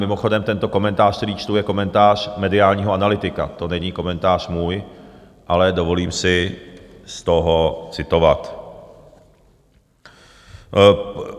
Mimochodem, tento komentář, který čtu, je komentář mediálního analytika, to není komentář můj, ale dovolím si z toho citovat.